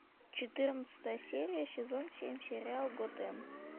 четырнадцатая серия сезон семь сериал готэм